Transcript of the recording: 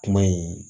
Kuma in